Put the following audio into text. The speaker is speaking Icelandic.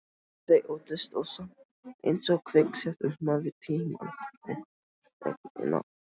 Þau óttast ég samt einsog kviksettur maður tímann og þögnina.